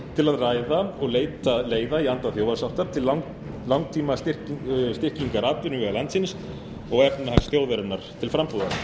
að ræða og leita leiða í anda þjóðarsáttar til langtímastyrkingar atvinnuvega landsins og efnahags þjóðarinnar til frambúðar